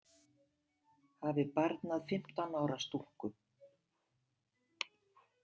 Hafi barnað fimmtán ára stúlku?